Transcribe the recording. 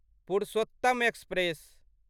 Purushottam express